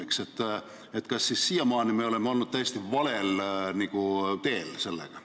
Kas me oleme siis siiamaani olnud täiesti valel teel?